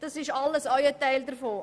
Das ist alles auch ein Teil davon.